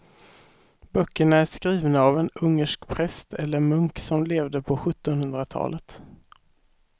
Böckerna är skrivna av en ungersk präst eller munk som levde på sjuttonhundratalet.